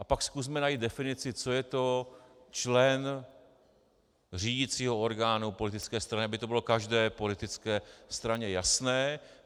A pak zkusme najít definici, co je to člen řídicího orgánu politické strany, aby to bylo každé politické straně jasné.